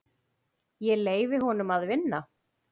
Ég leyfi honum að vinna.